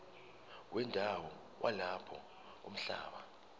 wendawo yalapho umhlaba